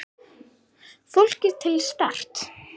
Flóki til Start?